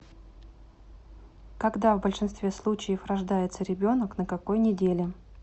когда в большинстве случаев рождается ребенок на какой неделе